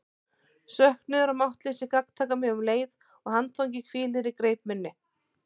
Söknuður og máttleysi gagntaka mig um leið og handfangið hvílir í greip minni.